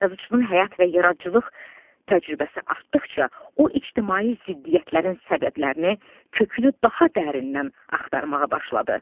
Yazıçının həyat və yaradıcılıq təcrübəsi artdıqca, o ictimai ziddiyyətlərin səbəblərini kökünü daha dərindən axtarmağa başladı.